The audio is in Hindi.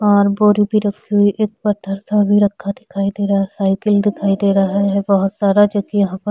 और बोरी भी रखी हुई एक पथर सा भी रखा दिखाई दे रहा है साइकिल दिखाई दे रहा है बहोत सारा जो कि यहाँ पर--